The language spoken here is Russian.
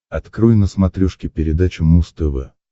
открой на смотрешке передачу муз тв